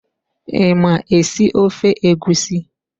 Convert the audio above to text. I ma esi ofe egusi?